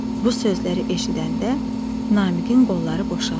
Bu sözləri eşidəndə Namiqin qolları boşaldı.